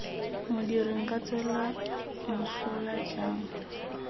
modiri nka tswelwa mosola jang